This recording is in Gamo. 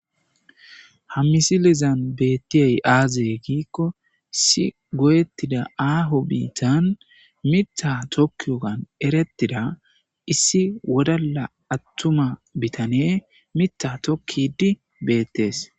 ha misilizan beettiyey aaze giikko issi goyettida aaho biittan mita tokkiyogan erettida issi wodala attuma bitane mita tokkidi beettees